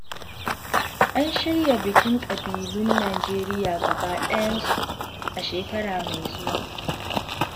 An shirya bikin ƙabilun Nijeriya gaba ɗayansu, a shekara mai zuwa.